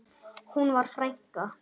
Hún var frænka.